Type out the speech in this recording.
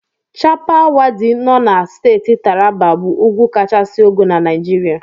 Chappal Waddi nọ na Steeti Taraba bụ ugwu kachisi ogo na Naijiria.